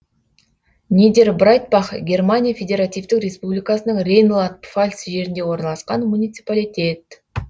нидербрайтбах германия федеративтік республикасының рейнланд пфальц жерінде орналасқан муниципалитет